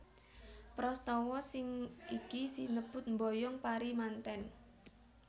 Prastawa sing iki sinebut mboyong pari mantèn